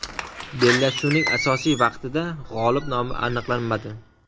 Bellashuvning asosiy vaqtida g‘olib nomi aniqlanmadi.